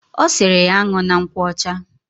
Osiri ya an̄una nkwocha.